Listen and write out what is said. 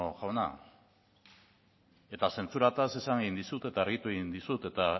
jauna eta zentsuraz esan egin dizut eta argitu egin dizut eta